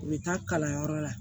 U bɛ taa kalanyɔrɔ la